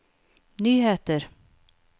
nyheter